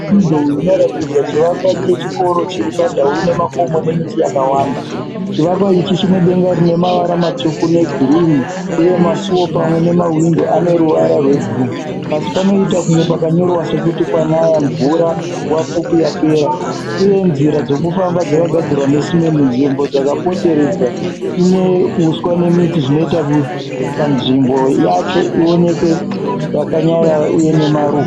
Mufananidzo uyu unotatidza chivakwa chechikoro chiri pandau inemakomo nemiti yakawanda. Chivakwa ichi chinedenga rinemavara matsviku negirini uye masuwo pamwe nemahwindo ane ruvara rwebhru-u. Pasi panoita kunge pakanuorova sekuti kwanaya mvura nguva pfupi yapera. Uye nzira dzekufsmba dzakagadzirwa nesimende. Nzvimbo dzakapoteredze ine uswa nemiti zvinoita kuti panzvimbo yacho ioneke iyakanyarara uye ine maruva.